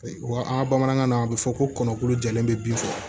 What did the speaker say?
Wa an ka bamanankan na a bɛ fɔ ko kɔnɔ kolo jɛlen bɛ bin faga